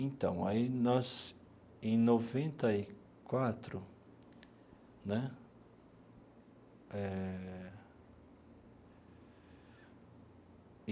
Então, aí nós, em noventa e quatro né? Eh.